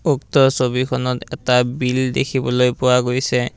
উক্ত ছবিখনত এটা বিল দেখিবলৈ পোৱা গৈছে।